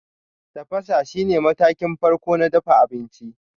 Tafasa shine matakin farko na dafa abinci.